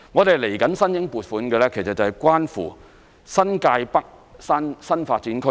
接下來我們申請撥款的是關乎新界北新發展區。